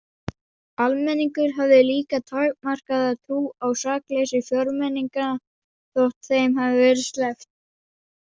Almenningur hafði líka takmarkaða trú á sakleysi fjórmenninganna þótt þeim hefði verið sleppt.